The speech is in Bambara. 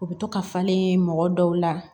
U bɛ to ka falen mɔgɔ dɔw la